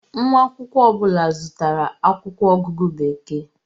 Nwa akwụkwọ ọ bụla zụtara akwụkwọ ọgụgụ Bekee.